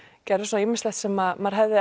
gerðum svona ýmislegt sem maður hefði